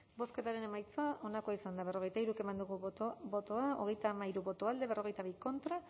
bozketaren emaitza onako izan da hirurogeita hamabost eman dugu bozka hogeita hamairu boto alde cuarenta y dos contra